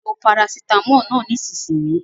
Lo parasitámọ̀ náà nísìnyìí.